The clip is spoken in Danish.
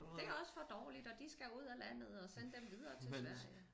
Det også for dårligt og de skal ud af landet og send dem videre til Sverige